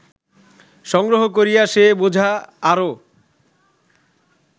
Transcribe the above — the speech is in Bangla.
সংগ্রহ করিয়া সে বোঝা আরও